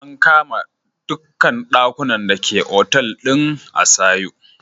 An kama dukkan dakunan da ke Otal din Asio.